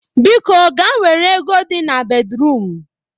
Biko gaa were ego dị na bedruum